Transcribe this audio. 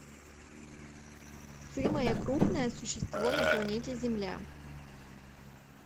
сымое крупное существо на планете земля